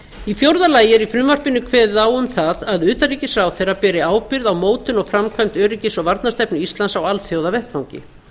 í fjórða lagi er í frumvarpinu kveðið á um það að utanríkisráðherra beri ábyrgð á mótun og framkvæmd öryggis og varnarstefnu íslands á alþjóðavettvangi